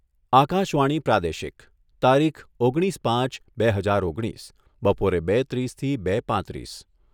આકાશવાણી પ્રાદેશિક તારીખ ઓગણીસ પાંચ બે હજાર ઓગણીસ બપોરે બે ત્રીસથી બે પાંત્રીસ